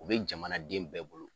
O be jamanaden bɛɛ bolo.